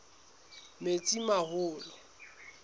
metsimaholo